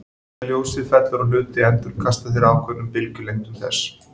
Þegar ljósið fellur á hluti endurkasta þeir ákveðnum bylgjulengdum þess.